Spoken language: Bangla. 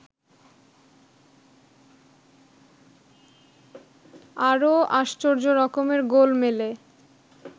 আরও আশ্চর্য রকমের গোলমেলে